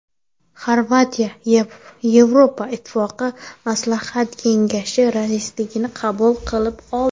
Xorvatiya Yevropa Ittifoqi maslahat kengashi raisligini qabul qilib oldi.